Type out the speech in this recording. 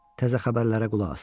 Təzə xəbərlərə qulaq asaq.